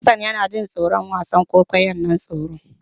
Hassan yana jin tsoron wasan kwaikwayon nan tsoron.